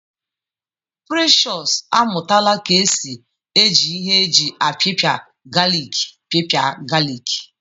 Precious amụtala ka esi eji ihe eji apipia galik pịpịa galik